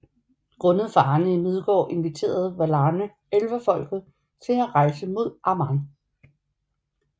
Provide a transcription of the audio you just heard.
Grundet farerne i Midgård inviterede Valarne Elverfolket til at rejse mod Aman